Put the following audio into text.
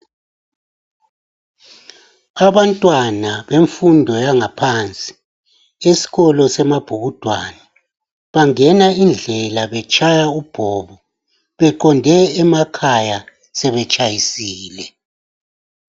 Abantwana bemfundo yangaphansi esikolo seMabhukudwane bangena indlela betshaya ubhobo beqonde emakhaya sebetshayisile.